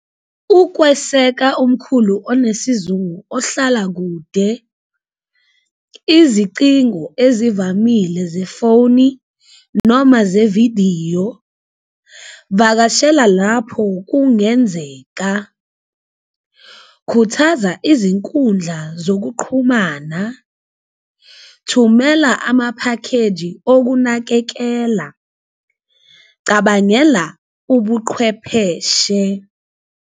Ukweseka umkhulu onesizungu ohlala kude izicingo ezivamile zefowuni noma zevidiyo, vakashela lapho kungenzeka, khuthaza izinkundla zokuqhumana, thumela amaphakheji okunakekela, cabangela ubuqhwepheshe.